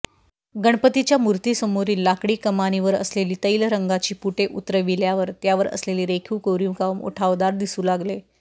गणपतीच्या मूर्तीसमोरील लाकडी कमानीवर असलेली तैलरंगाची पुटे उतरविल्यावर त्यावर असलेले रेखीव कोरीवकाम उठावदार दिसू लागले